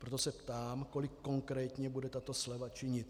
Proto se ptám, kolik konkrétně bude tato sleva činit.